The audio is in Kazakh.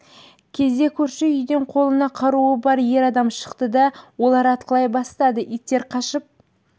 кезде көрші үйден қолында қаруы бар ер адам шықты да олар атқылай бастады иттер қашып